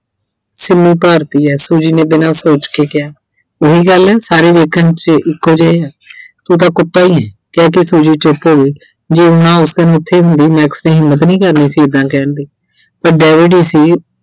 ਸ਼ੰਮੋ ਭਾਰਤੀ ਆ Suji ਨੇ ਬਿਨਾਂ ਸੋਚ ਕੇ ਕਿਹਾ ਉਹੀ ਗੱਲ ਨਹੀਂ ਸਾਰੇ ਲੋਕ ਤੁਸੀਂ ਇੱਕੋ ਜਿਹੇ ਓਂ, ਤੂੰ ਤਾਂ ਕੁੱਤਾ ਈ ਏ ਕਹਿ ਕੇ Suji ਚੁੱਪ ਹੋ ਗਈ ਸੀ। ਜੇ ਮੈਂ ਉਸ ਦਿਨ ਉਥੇ ਹੁੰਦੀ Max ਨੇ ਹਿੰਮਤ ਨਹੀਂ ਸੀ ਕਰਨੀ ਏਦਾਂ ਕਹਿਣ ਦੀ, ਇਹ David ਹੀ ਸੀ